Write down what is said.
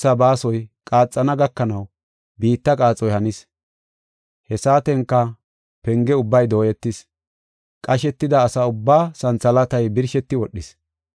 Qoponna qasho keetha baasoy qaaxana gakanaw biitta qaaxoy hanis. He saatenka penge ubbay dooyetis; qashetida asa ubbaa santhalaatay birsheti wodhis.